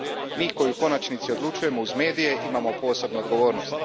Mi koji u konačnici odlučujemo uz medije imamo posebnu odgovornost.